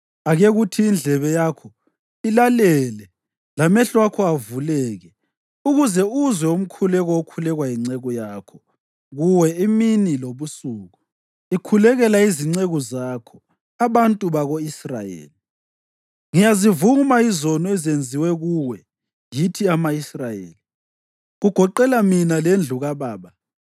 ake kuthi indlebe yakho ilalele lamehlo akho avuleke ukuze uzwe umkhuleko okhulekwa yinceku yakho kuwe imini lobusuku, ikhulekela izinceku zakho, abantu bako-Israyeli. Ngiyazivuma izono ezenziwe kuwe yithi ama-Israyeli, kugoqela mina lendlu kababa.